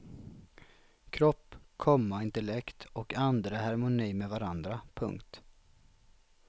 Kropp, komma intellekt och ande är i harmoni med varandra. punkt